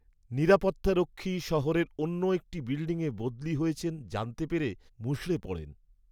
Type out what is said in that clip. নিরাপত্তারক্ষী শহরের অন্য একটি বিল্ডিংয়ে বদলি হয়েছেন জানতে পেরে মুষড়ে পড়েন।